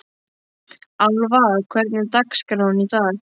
Alva, hvernig er dagskráin í dag?